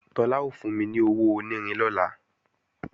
Tọ́lá ó fún mi ní owó onírin lọ́la